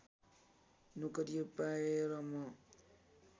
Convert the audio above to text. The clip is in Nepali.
नोकरी पाएँ र म